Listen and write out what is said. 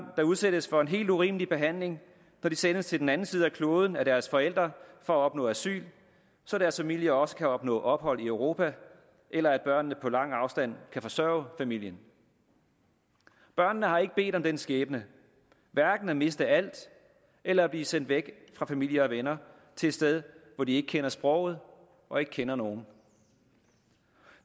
der udsættes for en helt urimelig behandling når de sendes til den anden side af kloden af deres forældre for at opnå asyl så deres familier også kan opnå ophold i europa eller børnene på lang afstand kan forsørge familien børnene har ikke bedt om den skæbne hverken at miste alt eller at blive sendt væk fra familie og venner til et sted hvor de ikke kender sproget og ikke kender nogen